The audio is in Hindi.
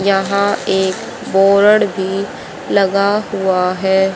यहां एक बोरड भी लगा हुआ है।